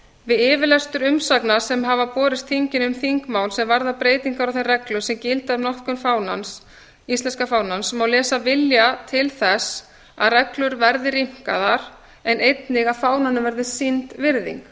við yfirlestur umsagna sem hafa borist þinginu um þingmál sem varða breytingar á þeim reglum sem gilda um notkun íslenska fánans má lesa vilja til þess að reglur verði rýmkaðar en einnig að fánanum verði sýnd virðing